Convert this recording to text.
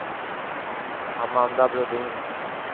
Amanda Brodin